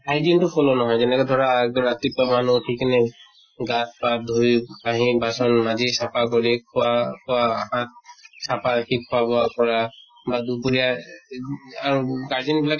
hygiene টো follow নহয় যেনেকে ধৰা ৰাতিপুৱা মানুহ ওঠি কেনে গা পা ধুই, কাহি বাচন মাজি চফা কৰি খোৱা বোৱা আত চাফাকে খোৱা বোৱা কৰা বা দুপৰিয়া এহ আৰু গাৰ্জেন বিলাক